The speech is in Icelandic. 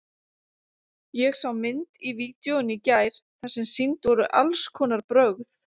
Ég sá mynd í vídeóinu í gær þar sem sýnd voru alls konar brögð.